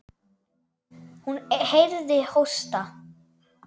Hún heyrði hósta.